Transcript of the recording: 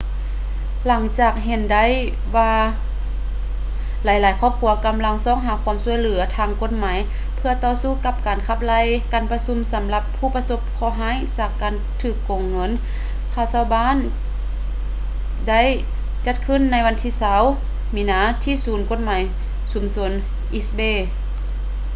ຫຼັງຈາກເຫັນໄດ້ວ່າຫຼາຍໆຄອບຄົວກຳລັງຊອກຫາຄວາມຊ່ວຍເຫຼືອທາງກົດໝາຍເພື່ອຕໍ່ສູ້ກັບການຂັບໄລ່ ການປະຊຸມສຳລັບຜູ້ປະສົບເຄາະຮ້າຍຈາກການຖືກໂກງເງິນຄ່າເຊົ່າບ້ານໄດ້ຈັດຂຶ້ນໃນວັນທີ 20 ມີນາທີ່ສູນກົດໝາຍຊຸມຊົນ east bay